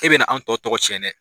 E bɛna na an tɔ tɔgɔ cɛn dɛ